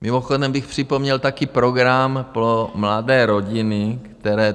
Mimochodem bych připomněl taky program pro mladé rodiny, které...